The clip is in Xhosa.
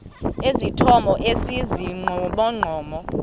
esithomo esi sibugqomogqomo